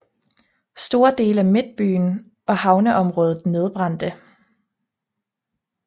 Store dele af midtbyen og havneområdet nedbrændte